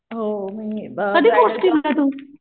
हो